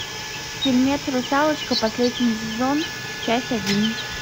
фильмец русалочка последний сезон часть один